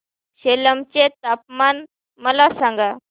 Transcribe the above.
सेलम चे तापमान मला सांगा